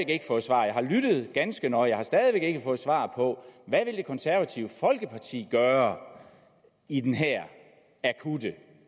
ikke fået svar og jeg har lyttet ganske nøje på hvad det konservative folkeparti gøre i den her akutte